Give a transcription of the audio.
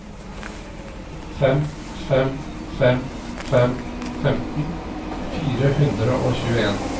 fem fem fem fem femten fire hundre og tjueen